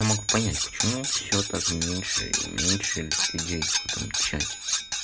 не могу понять почему всё так меньше и меньше людей в этом чате